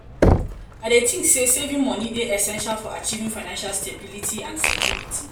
i dey think say saving money dey essential for achieving financial stability and security.